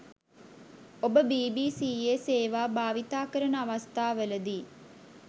ඔබ බීබීසීයේ සේවා භාවිතාකරන අවස්ථාවලදී